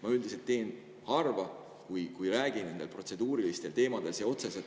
Ma üldiselt räägin harva nendel protseduurilistel teemadel.